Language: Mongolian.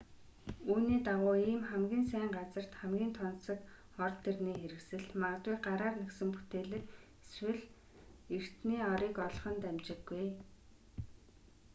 үүний дагуу ийм хамгийн сайн газарт хамгийн тансаг ор дэрний хэрэгсэл магадгүй гараар нэхсэн бүтээглэг эсвэл эртний орыг олох нь дамжиггүй